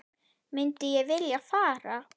Myndi ég vilja fara?